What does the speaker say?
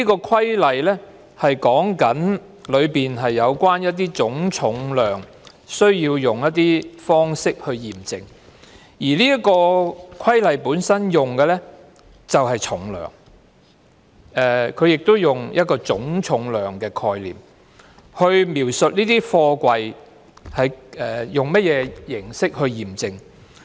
《規例》第 3A 條，是有關總重量需要用一些方式去驗證，而《規例》本身用的是"重量"，它亦用一個總重量的概念來描述這些貨櫃用甚麼形式驗證。